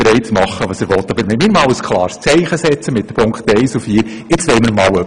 Aber wir wollen mit den Punkten 1 und 4 ein klares Zeichen setzen und einen Schritt weitergehen.